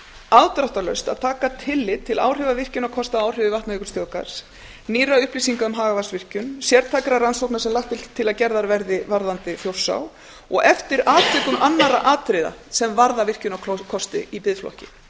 afdráttarlaust að taka tillit til áhrifa virkjunarkosta á áhrifasvæði vatnajökulsþjóðgarðs nýrra upplýsinga um hagavatnsvirkjun sértækra rannsókna sem lagt er til að gerðar verði varðandi þjórsá og eftir atvikum annarra atriða sem varða virkjunarkosti í biðflokki